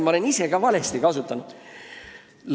Ma olen ise ka neid valesti kasutanud.